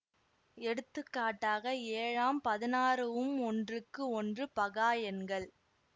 எடுத்துக்காட்டாக ஏழாம் பதினாறு உம் ஒன்றுக்கு ஒன்று பகா எண்கள்